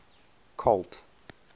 colt